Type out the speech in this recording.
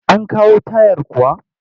An kawo tayar kuwa?